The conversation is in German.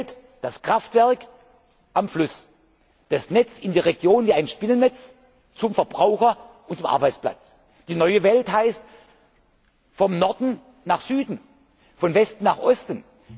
notwendig. Die alte Welt das Kraftwerk am Fluss, das Netz in die Region wie ein Spinnennetz zum Verbraucher und zum Arbeitsplatz. Die neue Welt heißt von Norden nach Süden, von Westen